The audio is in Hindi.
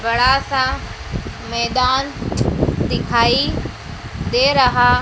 बड़ा सा मैदान दिखाई दे रहा--